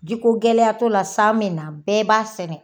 Jiko gɛlɛya t'o la san bɛ na bɛɛ b'a sɛnɛ.